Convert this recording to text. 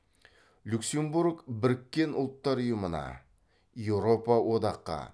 люксембург біріккен ұлттар ұйымына еуропа одаққа